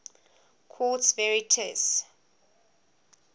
quartz varieties